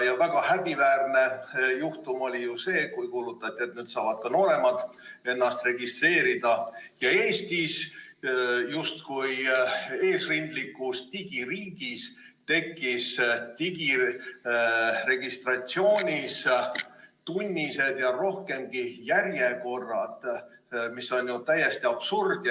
Väga häbiväärne juhtum oli see, kui kuulutati välja, et nüüd saavad ka nooremad ennast registreerida, aga Eestis, justkui eesrindlikus digiriigis, tekkisid digiregistratuuris tunnised ja pikemadki järjekorrad, mis on ju täielik absurd.